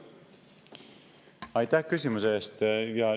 Aitäh küsimuse eest!